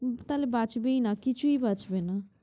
উম তাহলে বাঁচবেই না কিছুই বাঁচবে না।